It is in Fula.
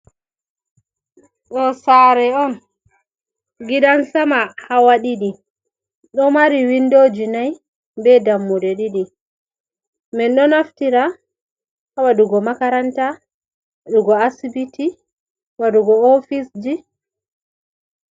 Ɗo sare on giɗan sama hawa ɗiɗi. Ɗo mari windoji nai be dammude ɗiɗi. Min ɗo naftira ha waɗugo makaranta. Waɗuugo asibiti. Waɗugo ofisji.